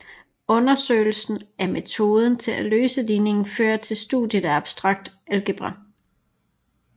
Undersøgelsen af metoder til at løse ligninger fører til studiet af abstrakt algebra